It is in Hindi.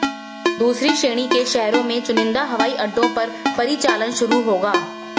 दूसरी श्रेणी के शहरों में चुनिंदा हवाई अड्डों पर परिचालन शुरू होगा